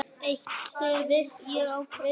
Eitt stef ég kvað.